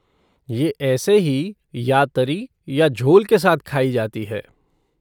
ये ऐसे ही या तरी या झोल के साथ खाई जाती है।